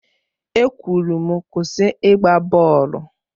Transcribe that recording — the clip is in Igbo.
E kwụrụ m Kwụsị ịgba bọọlụ!